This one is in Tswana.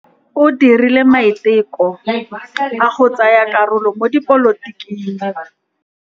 O dirile maitekô a go tsaya karolo mo dipolotiking.